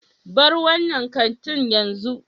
Bar wannan kantin yanzu.